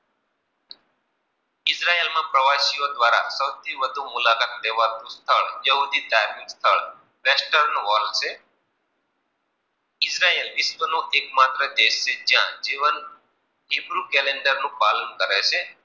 સૌથી વધુ મુલાકાતી લેવાતુંસ્થળ યહૂદી ધાર્મિક સ્થળ ઈજરાયલ વિશ્વનો એકમાત્ર દેશ છે જ્યાં જીવન એકલું કલ્કન્દર નું પાલન કરે છે.